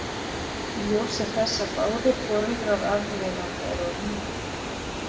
Í ljósi þess að báðir foreldrar arfleifanda eru á lífi.